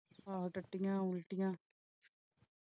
ਹਾਂ ਟੱਟੀਆਂ ਉਲਟੀਆਂ